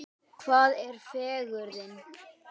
Hvað er fegurðin?